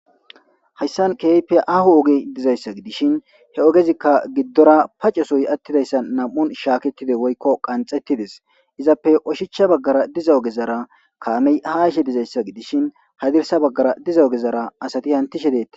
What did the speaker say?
hayssan keype ahu ogi dizayssa gidishin he ogezikka giddora paccesoy attidayssa nam7un shaaketide woykko qanxettidis izappe oshichcha baggara diza ogezara kaamey hashe dizayssa gidishin hadirsa baggara diza ogezara asati hantishe deette